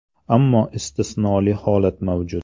Ammo istisnoli holat mavjud.